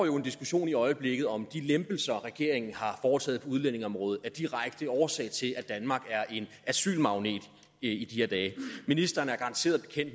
jo en diskussion i øjeblikket om om de lempelser regeringen har foretaget på udlændingeområdet er direkte årsag til at danmark er en asylmagnet i de her dage ministeren er garanteret